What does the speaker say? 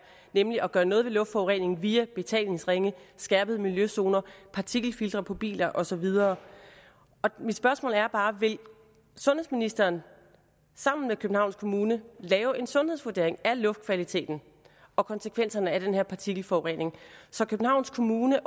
nemlig at gøre noget ved luftforureningen via betalingsringe skærpede miljøzoner partikelfiltre på biler og så videre mit spørgsmål er bare vil sundhedsministeren sammen med københavns kommune lave en sundhedsvurdering af luftkvaliteten og konsekvenserne af den her partikelforurening så københavns kommune